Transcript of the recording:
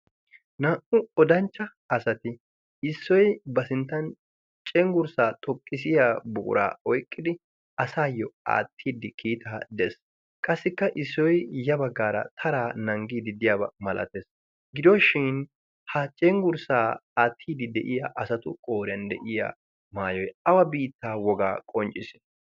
naa"u odanchcha asati issoy ba sinttan cenggurssaa xoqqisiya buuraa oyqqidi asaayyo aattiidi kiitaa dees qassikka issoy ya baggaara taraa nanggiiddi diyaabaa malatees gidooshin ha cenggurssaa aattiidi de'iya asatu qooriyan de'iya maayoy awa biittaa wogaa qoncciisii